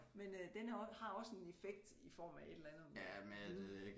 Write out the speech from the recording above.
Men øh den er også har også en effekt i form af et eller andet lyd